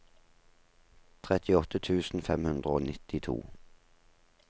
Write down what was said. trettiåtte tusen fem hundre og nittito